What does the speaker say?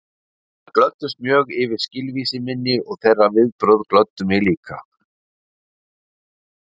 Þær glöddust mjög yfir skilvísi minni og þeirra viðbrögð glöddu mig líka.